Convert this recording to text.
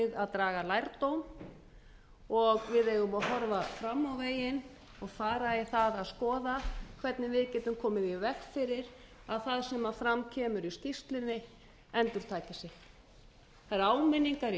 að draga lærdóm og við eigum að horfa fram á veginn og fara í það að skoða hvernig við getum komið í veg fyrir að það sem fram kemur í skýrslunni endurtaki sig það eru áminningar í